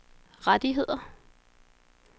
rettigheder